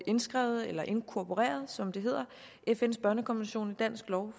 indskrevet eller inkorporeret som det hedder fns børnekonvention i dansk lov